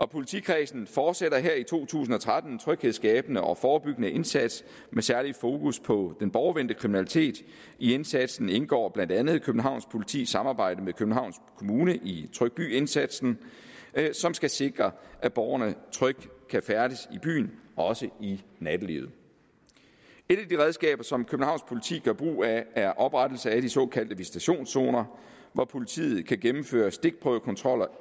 politikredsen fortsætter her i to tusind og tretten den tryghedsskabende og forebyggende indsats med særlig fokus på den borgervendte kriminalitet i indsatsen indgår blandt andet københavns politis samarbejde med københavns kommune i tryg by indsatsen som skal sikre at borgerne trygt kan færdes i byen også i nattelivet et af de redskaber som københavns politi gør brug af er oprettelse af de såkaldte visitationszoner hvor politiet kan gennemføre stikprøvekontroller